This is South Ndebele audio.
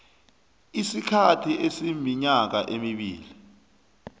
isikhathi esiminyaka emibili